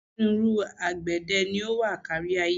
Onírúnrú àgbẹ̀dẹ ni ó wà kárí-ayé.